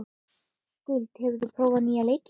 Skuld, hefur þú prófað nýja leikinn?